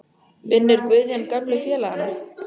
Vinnur Guðjón gömlu félagana?